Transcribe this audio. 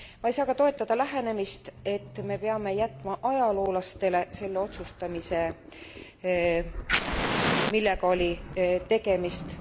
Ma ei saa ka toetada lähenemist, et me peame jätma ajaloolastele selle otsustamise millega oli tegemist.